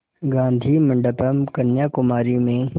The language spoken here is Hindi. गाधी मंडपम् कन्याकुमारी में